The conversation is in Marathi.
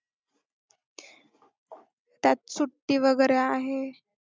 त्यात सुट्टी वगैरे आहे.